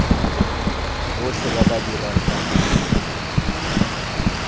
botlhe ba ba dirang ka